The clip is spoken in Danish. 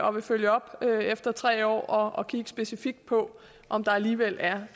og vil følge op efter tre år og kigge specifikt på om der alligevel er